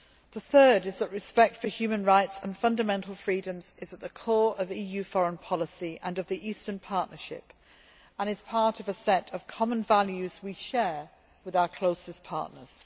The third principle is that respect for human rights and fundamental freedoms is at the core of EU foreign policy and of the Eastern Partnership and is part of a set of common values which we share with our closest partners.